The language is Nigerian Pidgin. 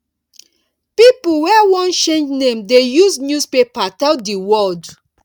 pipo wey wan change name dey use newspaper tell di world